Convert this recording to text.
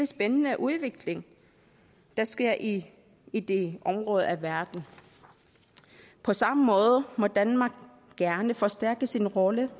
spændende udvikling der sker i i det område af verden på samme måde må danmark gerne forstærke sin rolle